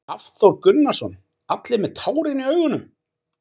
Hafþór Gunnarsson: Allir með tárin í augunum?